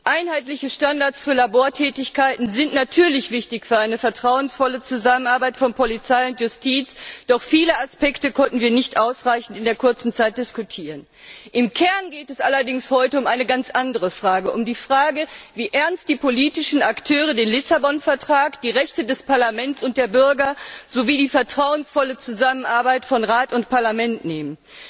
Einheitliche Standards für Labortätigkeiten sind natürlich wichtig für eine vertrauensvolle Zusammenarbeit von Polizei und Justiz, doch viele Aspekte konnten wir in der kurzen Zeit nicht ausreichend diskutieren. Im Kern geht es heute allerdings um eine ganz andere Frage, nämlich wie ernst die politischen Akteure den Lissabon Vertrag, die Rechte des Parlaments und der Bürger sowie die vertrauensvolle Zusammenarbeit von Rat und Parlament nehmen.